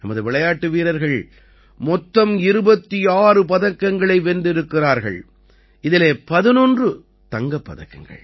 நமது விளையாட்டு வீரர்கள் மொத்தம் 26 பதக்கங்களை வென்றிருக்கிறார்கள் இதிலே 11 தங்கப் பதக்கங்கள்